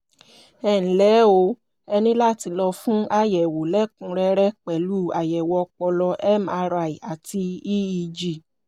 ẹnlẹ́ o ẹ ní láti lọ fún àyẹ̀wò lẹ́kùnrẹ́rẹ́ pẹ̀lú àyẹ̀wò ọpọlọ mri àti eeg